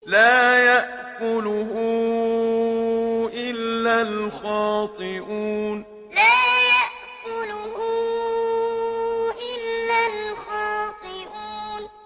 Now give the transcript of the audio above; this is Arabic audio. لَّا يَأْكُلُهُ إِلَّا الْخَاطِئُونَ لَّا يَأْكُلُهُ إِلَّا الْخَاطِئُونَ